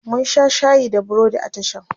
mun Sha shayi da burodi a tashan